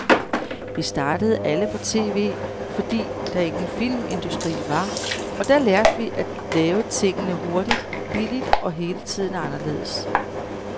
Vi startede alle på tv, fordi der ingen filmindustri var, og der lærte vi at lave tingene hurtigt, billigt og hele tiden anderledes.